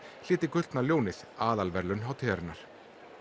hlyti gullna ljónið aðalverðlaun hátíðarinnar